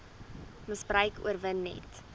misbruik oorwin net